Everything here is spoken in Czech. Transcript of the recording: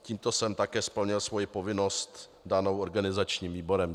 Tímto jsem také splnil svoji povinnost danou organizačním výborem.